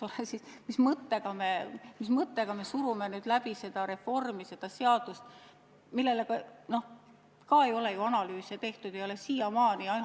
Aga mis mõttega me surume seda reformi läbi, miks me surume läbi seadust, mille kohta ei ole analüüse siiamaani tehtud?